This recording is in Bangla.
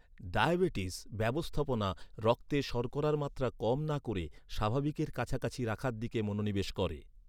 ডায়াবেটিস ব্যবস্থাপনা রক্তে শর্করার মাত্রা কম না করে স্বাভাবিকের কাছাকাছি রাখার দিকে মনোনিবেশ করে।